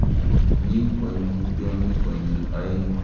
Mi koimutyoni konyil oeng'